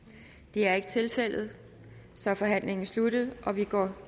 det er ikke tilfældet så er forhandlingen sluttet og vi går